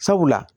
Sabula